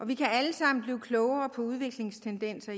vi kan alle sammen blive klogere på udviklingstendenser